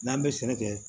N'an bɛ sɛnɛ kɛ